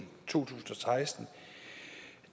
tusind og seksten